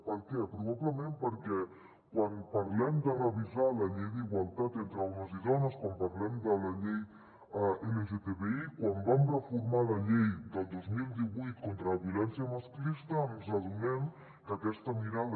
per què probablement perquè quan parlem de revisar la llei d’igualtat entre homes i dones quan parlem de la llei lgtbi quan vam reformar la llei del dos mil divuit contra la violència masclista ens adonem que aquesta mirada